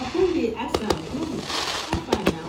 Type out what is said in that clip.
i con dey ask am guy hafa nah